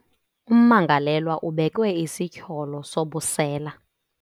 Ummangalelwa ubekwe isityholo sobusela.